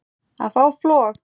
að fá flog